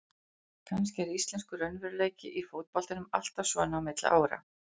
Kannski er íslenskur raunveruleiki í fótboltanum alltaf svona á milli ára.